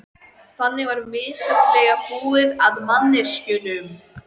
Næst gerum við Hringur stans hjá steinbákninu.